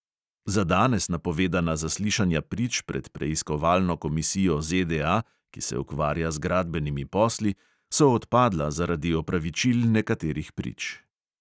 Za danes napovedana zaslišanja prič pred preiskovalno komisijo ZDA, ki se ukvarja z gradbenimi posli, so odpadla zaradi opravičil nekaterih prič.